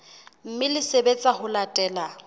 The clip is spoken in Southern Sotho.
mme le sebetsa ho latela